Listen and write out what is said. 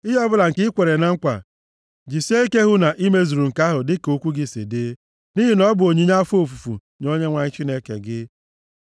Ihe ọbụla nke i kwere na nkwa, jisie ike hụ na i mezuru nke ahụ dịka okwu gị si dị, nʼihi na ọ bụ onyinye afọ ofufu nye Onyenwe anyị Chineke gị.